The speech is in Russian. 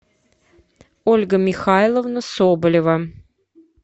ольга михайловна соболева